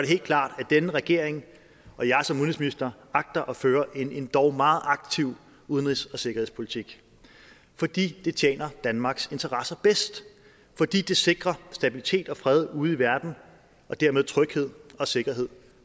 helt klart at denne regering og jeg som udenrigsminister agter at føre en endog meget aktiv udenrigs og sikkerhedspolitik fordi det tjener danmarks interesser bedst fordi det sikrer stabilitet og fred ude i verden og dermed tryghed og sikkerhed